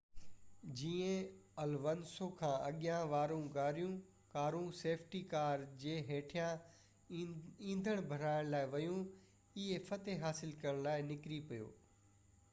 جيئن الونسو کان اڳيان وارون ڪارون سيفٽي ڪار جي هيٺان ايندڻ ڀرائڻ لاءِ ويون هي فتح حاصل ڪرڻ لاءِ نڪري پيو